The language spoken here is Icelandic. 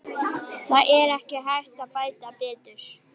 Það er ekki hægt að bæta um betur.